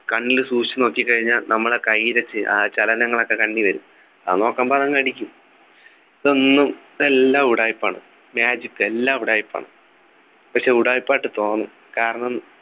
കണ്ണിൽ സൂക്ഷിച്ചു നോക്കിക്കഴിഞ്ഞാൽ നമ്മളെ കയ്യിലെ ആഹ് ചലനങ്ങൾ ഒക്കെ കണ്ണിൽ വരും അത് നോക്കുമ്പോൾ അത് അങ് അടിക്കും ഇതൊന്നും ഇതെല്ലാം ഉടായിപ്പാണ് magic എല്ലാം ഉടായിപ്പാണ് പക്ഷെ ഉടായിപ്പായിട്ട് തോന്നും കാരണം